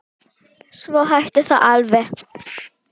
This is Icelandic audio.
Svo hætti það alveg.